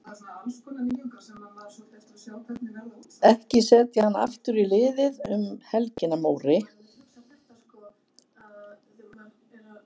Ekki setja hann aftur í liðið um helgina Móri.